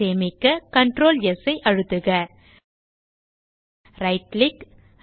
சேமிக்க Ctrl S ஐ அழுத்துக ரைட் கிளிக்